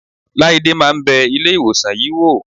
Láídé máa ń bẹ Ilé-ìwòsàn yìí wò.